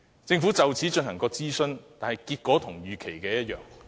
政府曾就此進行諮詢，但結果與預期一樣。